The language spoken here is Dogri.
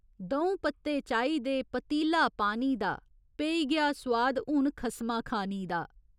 द'ऊं पत्ते चाही दे पतीला पानी दा पेई गेआ सोआद हून खस्मा खानी दा।